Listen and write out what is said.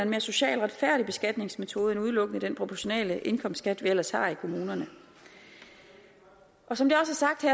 mere social retfærdig beskatningsmetode end udelukkende den proportionale indkomstskat vi ellers har i kommunerne som det